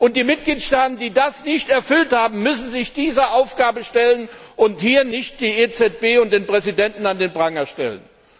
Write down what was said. Und die Mitgliedstaaten, die das nicht erfüllt haben, müssen sich dieser Aufgabe stellen und hier nicht die EZB und ihren Präsidenten an den Pranger stellen!